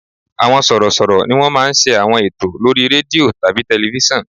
Àwọn sọ̀rọ̀ṣọ̀rọ̀ ni wọ́n máa ń ṣe àwọn ètò lórí rédíò tàbí tẹlifísàn